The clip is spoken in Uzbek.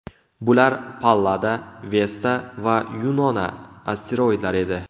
Bular Pallada, Vesta va Yunona asteroidlari edi.